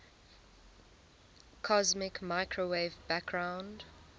cosmic microwave background